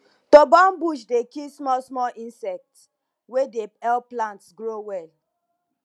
to burn bush dey kill small small insect wey dey help plants grow well